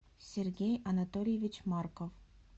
сергей анатольевич марков